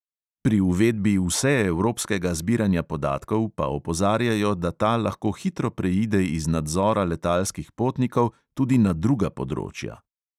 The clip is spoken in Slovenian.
Pri uvedbi vseevropskega zbiranja podatkov pa opozarjajo, da ta lahko hitro preide iz nadzora letalskih potnikov tudi na druga področja.